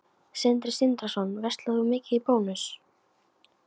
Sindri Sindrason: Verslar þú mikið í Bónus?